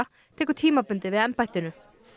tekur tímabundið við embættinu